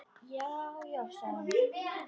Já, já sagði hann.